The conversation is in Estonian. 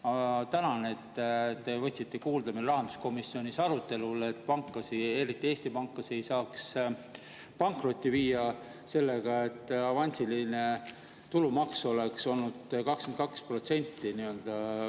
Ma tänan, et te võtsite meie rahanduskomisjonis arutelul kuulda, et pankasid, eriti Eesti pankasid ei pankrotti viia sellega, et avansiline tulumaks oleks 22%.